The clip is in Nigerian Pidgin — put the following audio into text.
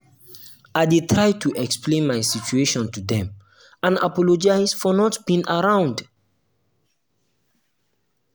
i dey try to explain my situation to dem and apologize for not being around. around.